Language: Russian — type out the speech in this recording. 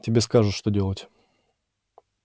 тебе скажут что делать